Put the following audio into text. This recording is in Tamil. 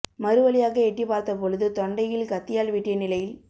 மறுவழியாக எட்டி பார்த்த பொழுது தொண்டையில் கத்தியால் வெட்டிய நிலையில்